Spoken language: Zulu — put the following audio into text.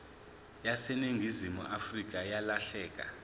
yaseningizimu afrika yalahleka